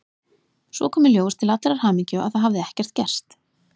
Svo kom í ljós til allrar hamingju að það hafði ekkert gerst.